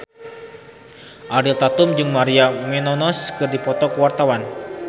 Ariel Tatum jeung Maria Menounos keur dipoto ku wartawan